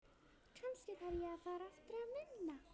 Kannski þarf ég að fara aftur að vinna.